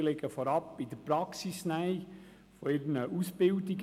Diese liegen vor allem in der Praxisnähe ihrer Ausbildungen.